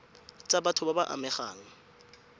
tsa batho ba ba amegang